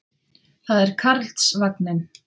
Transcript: Það er Karlsvagninn.